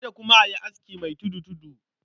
Kada kuma a yi aski mai tudu-tudu.